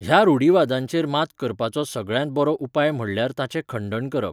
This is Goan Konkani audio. ह्या रूढिवादांचेर मात करपाचो सगळ्यांत बरो उपाय म्हणल्यार ताचें खंडण करप.